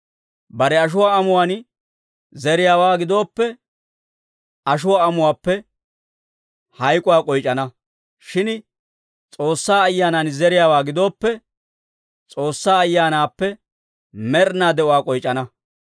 Bare ashuwaa amuwaan zeriyaawaa gidooppe, ashuwaa amuwaappe hayk'uwaa k'oyc'ana. Shin S'oossaa Ayyaanan zeriyaawaa gidooppe, S'oossaa Ayyaanaappe med'inaa de'uwaa k'oyc'ana.